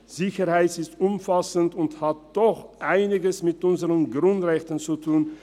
Sicherheit ist umfassend und hat doch einiges mit unseren Grundrechten zu tun.